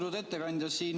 Austatud ettekandja!